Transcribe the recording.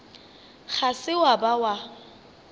ga se wa ba wa